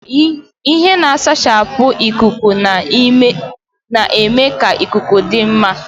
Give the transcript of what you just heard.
Ihe na-asachapụ ikuku na-eme ka ikuku dị n'ime ụlọ dịkwuo mma.